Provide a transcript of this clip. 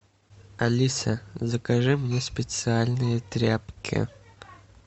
алиса закажи мне специальные тряпки